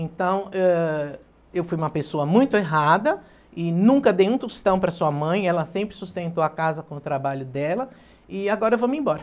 Então, ãh, eu fui uma pessoa muito errada e nunca dei um tostão para a sua mãe, ela sempre sustentou a casa com o trabalho dela e agora eu vou-me embora.